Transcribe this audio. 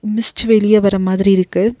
Mist வெளிய வர மாதிரி இருக்கு.